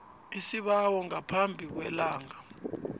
isibawo ngaphambi kwelanga